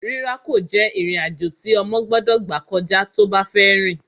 Rírákò jẹ́ ìrìn-àjò tí ọmọ gbọ́dọ̀ gbà kọjá tó bá fẹ́ rìn